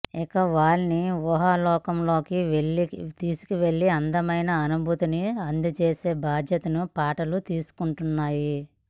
ఇక వాళ్ళని ఊహాలోకంలోకి తీసుకెళ్ళి అందమైన అనుభూతిని అందచేసే బాధ్యతని పాటలు తీసుకుంటున్నాయి